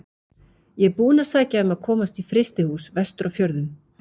Ég er búinn að sækja um að komast í frystihús vestur á fjörðum.